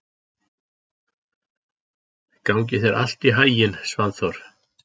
Gangi þér allt í haginn, Svanþór.